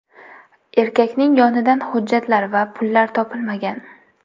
Erkakning yonidan hujjatlar va pullar topilmagan.